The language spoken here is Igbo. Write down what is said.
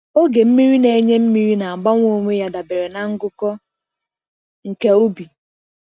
Oge mmiri na-enye mmiri na-agbanwe onwe ya dabere na ngụkọ nke ubi.